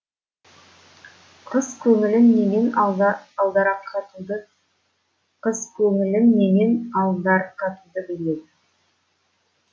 қыз көңілін немен алдарқатуды қыз көңілін немен алдарқатуды біледі